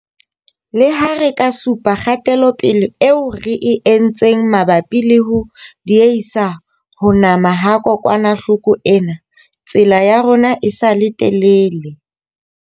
Leha re ka supa kgatelopele eo re e entseng mabapi le ho diehisa ho nama ha kokwanahloko ena, tsela ya rona e sa le telele.